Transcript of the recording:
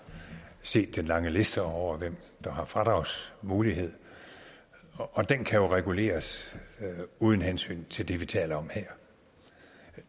set den lange liste over hvem der har fradragsmulighed og den kan reguleres uden hensyn til det vi taler om her